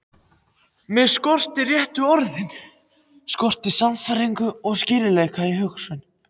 Mig skorti réttu orðin, skorti sannfæringu og skýrleika í hugsun.